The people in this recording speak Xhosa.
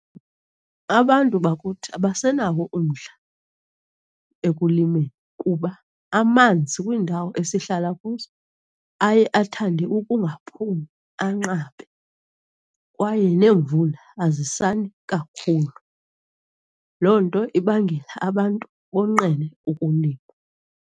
Abantu bakuthi abasenawo umdla ekulimeni kuba amanzi kwiindawo esihlala kuzo aye athande ukungaphumi, anqabe kwaye neemvula azisani kakhulu. Loo nto ibangela abantu bonqene ukulima.